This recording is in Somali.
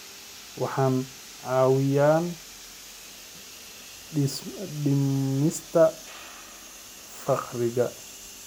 Waxay caawiyaan dhimista faqriga.